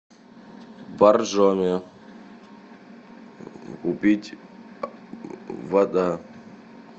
боржоми купить вода